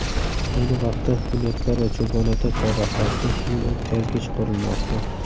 Ayni vaqtda Bunyodkor va Cho‘ponota chorrahasida yo‘l o‘tkazgich qurilmoqda.